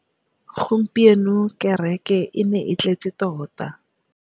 Gompieno kêrêkê e ne e tletse tota.